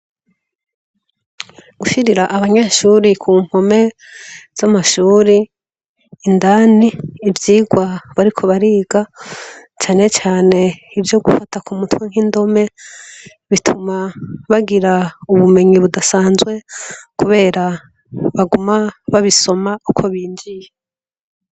Gushirira abanyeshure ku mpome z' amashuri indani ivyigwa bariko bariga cane cane nk' ivyo gufata kumutwe nk' indome bituma bagira ubumenyi budasanzwe kubera baguma babisoma uko binjiye.